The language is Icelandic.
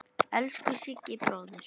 Elsku Siggi bróðir.